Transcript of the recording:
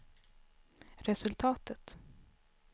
resultatet